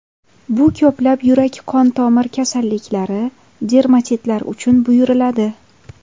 Bu ko‘plab yurak-qon tomir kasalliklari, dermatitlar uchun buyuriladi.